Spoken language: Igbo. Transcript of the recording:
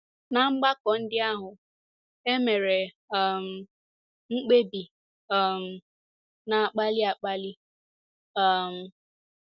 Ná mgbakọ ndị ahụ, e mere um mkpebi um na - akpali akpali um.